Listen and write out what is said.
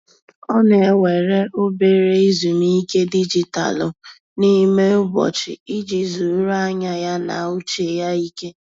Ọ na-ewere obere ezumike dijitalụ n'ime ụbọchị iji zuru anya ya na uche ya ike.